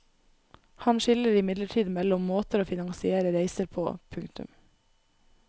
Han skiller imidlertid mellom måter å finansiere reiser på. punktum